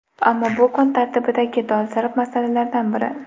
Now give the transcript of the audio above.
Ammo bu kun tartibidagi dolzarb masalalardan biri.